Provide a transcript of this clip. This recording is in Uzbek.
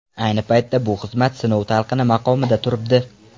Ayni paytda bu xizmat sinov talqini maqomida turibdi.